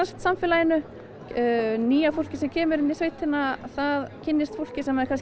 samfélaginu nýja fólkið sem kemur inn í sveitina það kynnist fólki sem það